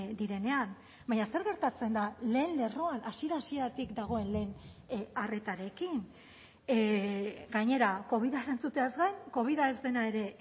direnean baina zer gertatzen da lehen lerroan hasiera hasieratik dagoen lehen arretarekin gainera covida entzuteaz gain covida ez dena ere